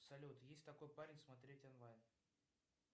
салют есть такой парень смотреть онлайн